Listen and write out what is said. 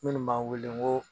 Munnu b' an wele nko